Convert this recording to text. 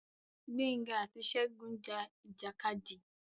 Gbénga àti Ṣegún ja ìjàkadì.